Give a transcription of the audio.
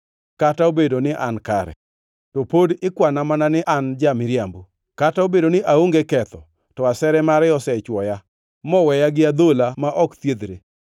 Kata obedo ni an kare, to pod ikwana mana ni an ja-miriambo; kata obedo ni aonge ketho, to asere mare osechwoya, moweya gi adhola ma ok thiedhre!’